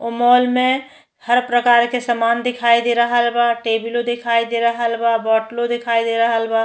ओ mall में हर प्रकार के सामान दिखाई दे रहल बा। टेबिलो देखाई दे रहल बा। बॉटलो देखाई दे रहल बा।